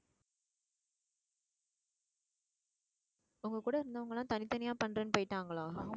உங்க கூட இருந்தவங்க எல்லாம் தனித்தனியா பண்றேன்னு போயிட்டாங்களா